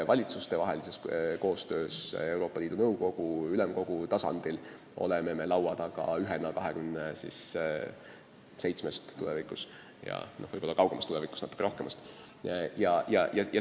Valitsustevahelises koostöös Euroopa Liidu Nõukogu ja ülemkogu tasandil oleme laua taga ühena 27-st – tulevikus on liikmeid vahest natuke rohkem.